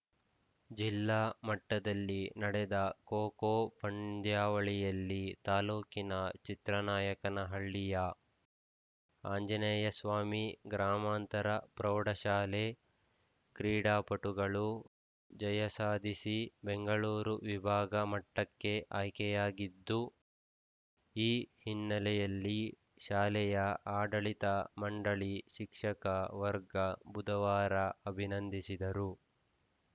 ಜಿಲ್ಲಾ ಮಟ್ಟದಲ್ಲಿ ನಡೆದ ಖೋ ಖೋ ಪಂದ್ಯಾವಳಿಯಲ್ಲಿ ತಾಲೂಕಿನ ಚಿತ್ರನಾಯಕನಹಳ್ಳಿಯ ಆಂಜನೇಯಸ್ವಾಮಿ ಗ್ರಾಮಾಂತರ ಪ್ರೌಢಶಾಲೆ ಕ್ರೀಡಾಪಟುಗಳು ಜಯಸಾಧಿಸಿ ಬೆಂಗಳೂರು ವಿಭಾಗ ಮಟ್ಟಕ್ಕೆ ಆಯ್ಕೆಯಾಗಿದ್ದು ಈ ಹಿನ್ನೆಲೆಯಲ್ಲಿ ಶಾಲೆಯ ಆಡಳಿತ ಮಂಡಳಿ ಶಿಕ್ಷಕ ವರ್ಗ ಬುಧವಾರ ಅಭಿನಂದಿಸಿದರು